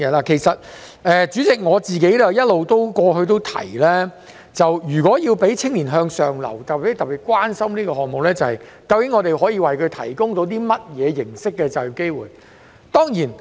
代理主席，我過去一直提及，如果要讓青年向上流，便要特別關心可以為他們提供甚麼形式的就業機會。